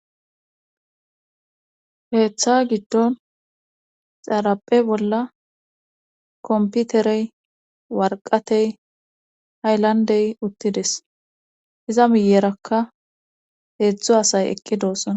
heeththa giddon xaaraphe bolla komputerey warqatey hayllandey uttides iza miyerakka heedzdzu asay eqqi doossona